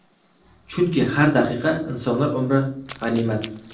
Chunki har daqiqa, insonlar umri g‘animat!